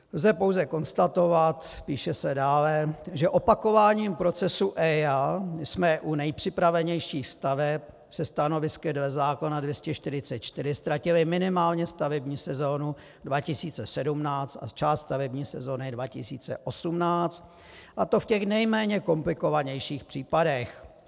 Lze pouze konstatovat, píše se dále, že opakováním procesu EIA jsme u nejpřipravenějších staveb se stanovisky dle zákona 244 ztratili minimálně stavební sezonu 2017 a část stavební sezony 2018, a to v těch nejméně komplikovanějších případech.